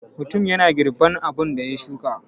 Mutum yana girban abun da ya shuka.